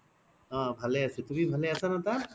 অ ভালে আছো তুমি ভালে আছা ন তাত